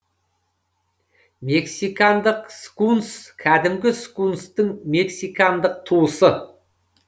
мексикандық скунс кәдімгі скунстың мексикандық туысы